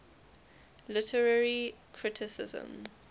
literary criticism